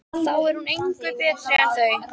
Þá er hún engu betri en þau.